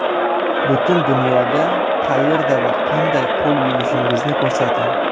Butun dunyoga qayerda va qanday qo‘l yuvishingizni ko‘rsating.